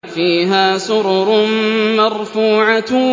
فِيهَا سُرُرٌ مَّرْفُوعَةٌ